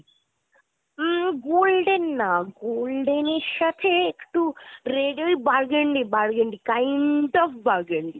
হুম golden না golden এর সাথে একটু red এর burgundy burgundy kind of burgundy.